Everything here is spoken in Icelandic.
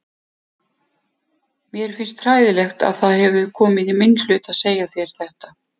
Mér finnst hræðilegt að það hefur komið í minn hlut að segja þér þetta.